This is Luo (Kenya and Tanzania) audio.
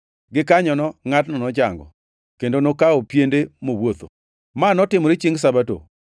Gikanyono ngʼatno nochango, kendo nokawo piende mowuotho. Ma notimore chiengʼ Sabato,